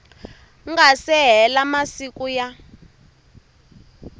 nga se hela masiku ya